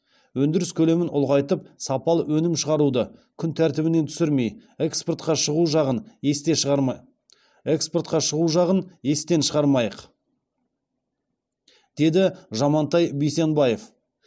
өндіріс көлемін ұлғайтып сапалы өнім шығаруды күн тәртібінен түсірмей экспортқа шығу жағын есте шығармайық деді жамантай бейсенбаев